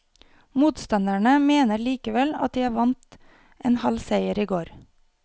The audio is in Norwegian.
Motstanderne mener likevel at de vant en halv seier i går.